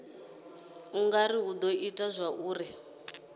ngauralo hu do ita zwauri